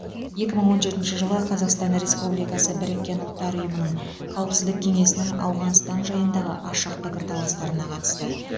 екі мың он жетінші жылы қазақстан республикасы біріккен ұлттар ұйымының қауіпсіздік кеңесінің ауғанстан жайындағы ашық пікірталастарына қатысты